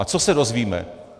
A co se dozvíme.